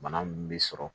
Bana min bɛ sɔrɔ